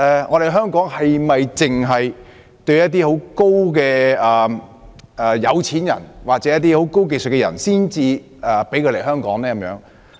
可是，香港是否只批准某些有錢人或擁有高技術人士來港呢？